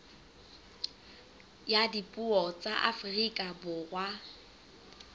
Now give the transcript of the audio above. ya dipuo tsa afrika borwa